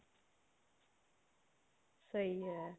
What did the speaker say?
ਸਹੀ ਹੈ